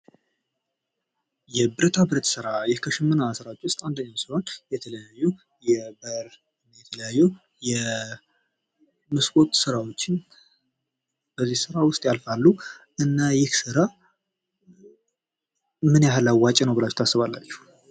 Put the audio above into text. የብረታ ብረት ስራ ፦ ይህ ከሸመና ስራዎች ውስጥ አንደኛው ሲሆን የተለያዩ የበር ፣ የተለያዩ የመስኮት ስራዎችን በዚህ ስራ ውስጥ ያልፋሉ ። እና ይህ ስራ ምን ያክል አዋጭ ነው ብላችሁ ታስባላችሁ ?